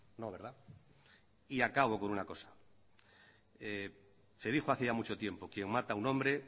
no verdad y acabo con una cosa se dijo hace ya mucho tiempo quien mata a un hombre